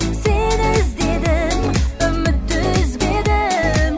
сені іздедім үмітті үзбедім